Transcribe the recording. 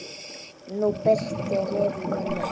Nú birtir yfir mömmu.